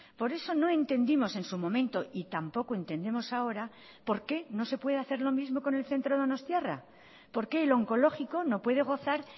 por eso no entendimos en su momento y tampoco entendemos ahora por qué no se puede hacer lo mismo con el centro donostiarra por qué el oncológico no puede gozar